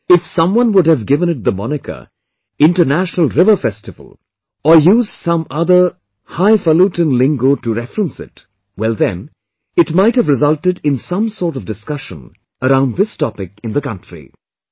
Well, if someone would have given it the moniker "International River Festival", or used some other highfalutin lingo to reference it, well then, it might have resulted in some sort of discussion around this topic in the country